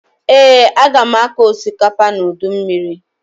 Ee, aga m akọ osikapa n'udu mmiri